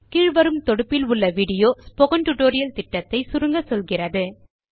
கீழ் வரும் தொடுப்பில் விடியோ ஸ்போக்கன் டியூட்டோரியல் புரொஜெக்ட் ஐ சுருக்கமாக சொல்லுகிறது